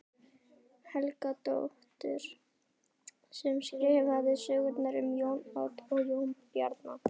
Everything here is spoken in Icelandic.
Helgadóttur sem skrifaði sögurnar um Jón Odd og Jón Bjarna.